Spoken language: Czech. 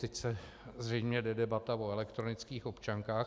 Teď se zřejmě bude debatovat o elektronických občankách.